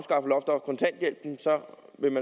mit